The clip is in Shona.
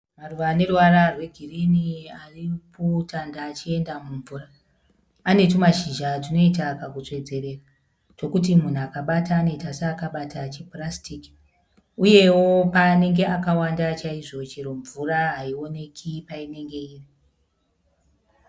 Maruva aneruvara rwe girinhi ari mu pool tande achienda mumvura . Ane tumashizha tunoita kaku tsvedzerera tokuti munhu akabata anoita seakabata chipurasitiki . Uyewo paanenge akawanda chaizvo chero mvura haioneki painenge iri .